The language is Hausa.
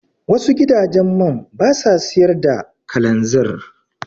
Wasu gidajen man basa siyar da kalanzir.